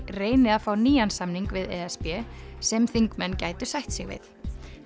reyni að fá nýjan samning við e s b sem þingmenn gætu sætt sig við